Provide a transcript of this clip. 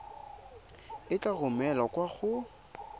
e tla romelwa kwa go